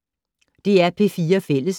DR P4 Fælles